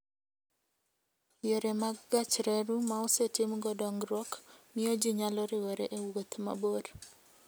Yore mag gach reru ma osetimgo dongruok, miyo ji nyalo riwore e wuoth mabor.